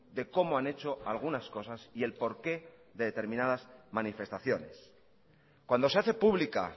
de cómo han hecho algunas cosas y el porqué de determinadas manifestaciones cuando se hace pública